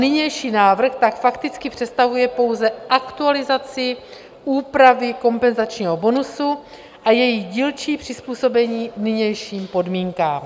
Nynější návrh tak fakticky představuje pouze aktualizaci úpravy kompenzačního bonusu a její dílčí přizpůsobení nynějším podmínkám.